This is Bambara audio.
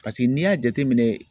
n'i y'a jateminɛ